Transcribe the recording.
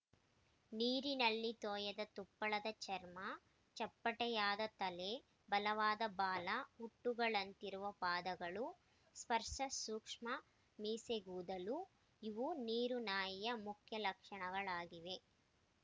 ನೀರಿನಲ್ಲಿ ತೋಯದ ತುಪ್ಪಳದ ಚರ್ಮ ಚಪ್ಪಟೆಯಾದ ತಲೆ ಬಲವಾದ ಬಾಲ ಹುಟ್ಟುಗಳಿಂತಿರುವ ಪಾದಗಳು ಸ್ಪರ್ಶಸೂಕ್ಷ್ಮ ಮೀಸೆಗೂದಲು ಇವು ನೀರುನಾಯಿಯ ಮುಖ್ಯ ಲಕ್ಷಣಗಳಗಳಾಗಿವೆ